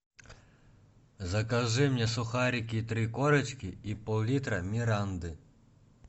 закажи мне сухарики три корочки и пол литра миранды